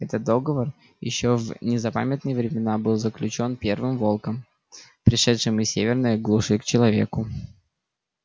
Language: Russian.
этот договор ещё в незапамятные времена был заключён первым волком пришедшим из северной глуши к человеку